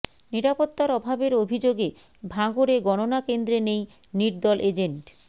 নিরাপত্তার অভাবের অভিযোগে ভাঙড়ে গণনা কেন্দ্রে নেই নির্দল এজেন্ট